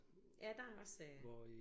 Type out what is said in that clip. Ja der er også øh